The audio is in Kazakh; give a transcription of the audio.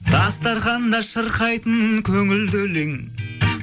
дастарханда шырқайтын көңілді өлең